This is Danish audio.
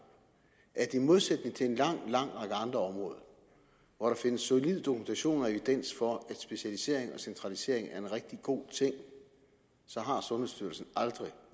at i modsætning til en lang lang række andre områder hvor der findes solid dokumentation og evidens for at specialisering og centralisering er en rigtig god ting så har sundhedsstyrelsen aldrig